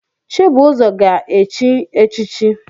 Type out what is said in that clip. Chibuzor ga-echi echichi